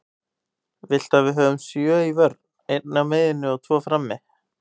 Viltu að við höfum sjö í vörn, einn á miðjunni og tvo frammi?